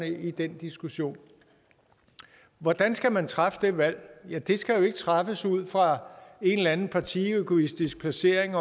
i den diskussion hvordan skal man træffe det valg det skal ikke træffes ud fra en eller anden partiegoistisk placering